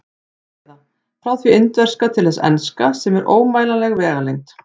Eða: frá því indverska til þess enska, sem er ómælanleg vegalengd.